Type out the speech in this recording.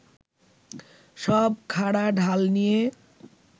সব খাঁড়া ঢাল নিয়ে